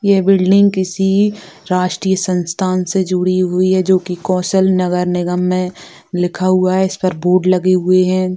ये बिल्डिंग किसी राष्ट्रीय संस्थान से जुडी हुई है जोकी कौशल नगर निगम में लिखा हुआ है इस पर बोर्ड लगे हुए हैं।